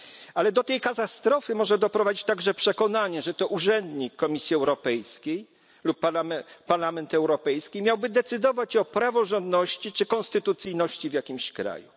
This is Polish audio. Ale do tej katastrofy może doprowadzić także przekonanie, że to urzędnik Komisji Europejskiej lub Parlament Europejski miałby decydować o praworządności czy konstytucyjności w jakimś kraju.